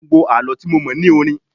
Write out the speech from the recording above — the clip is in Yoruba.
Gbogbo Àlọ́ tí mo mọ̀ ní orin.